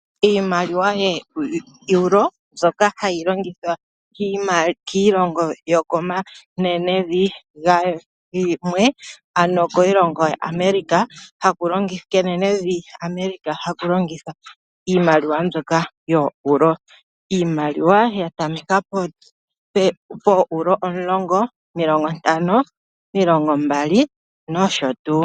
Iimaliwa yooEuro oyo iimaliwa mbyoka hayi longithwa kaantu yookiilongo yomenenevi Europa. Iimaliwa mbika oya tameka pefo lyooEuro omulongo, taku landula nee omilongo mbali, omilongo ntano nosho tuu.